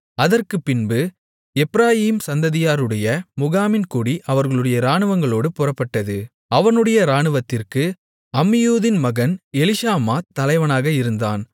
அதற்குப்பின்பு எப்பிராயீம் சந்ததியாருடைய முகாமின் கொடி அவர்களுடைய இராணுவங்களோடு புறப்பட்டது அவனுடைய இராணுவத்திற்கு அம்மியூதின் மகன் எலிஷாமா தலைவனாக இருந்தான்